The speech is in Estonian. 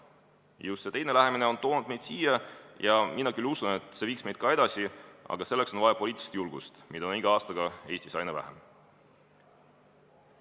Just see teine lähenemine on toonud meid siia, kus me oleme, ja mina küll usun, et see viiks meid ka edasi, aga selleks on vaja poliitilist julgust, mida on iga aastaga Eestis aina vähem.